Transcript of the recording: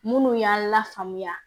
Minnu y'an lafaamuya